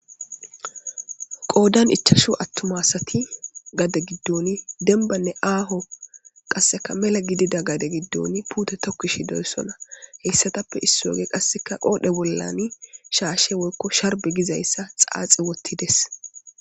Goodan ichashu attumasati gade giddoon denbanne aaho qasseka mela gidida gade giddoon puute tokkishi deyssona heyssatappe issi woge qasseka qoodhe bollani shaashshe woykko sharbe gizayssa xaaxi wottides.